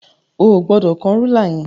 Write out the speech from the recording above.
O ò gbọdọ̀ kán rúlà yẹn.